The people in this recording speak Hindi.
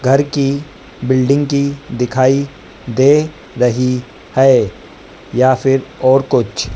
घर की बिल्डिंग की दिखाई दे रही है या फिर और कुछ--